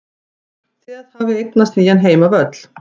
Það hafði eignast nýjan heimavöll.